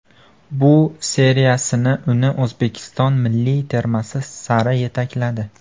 Bu seriyasini uni O‘zbekiston milliy termasi sari yetakladi.